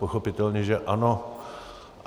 Pochopitelně že ano.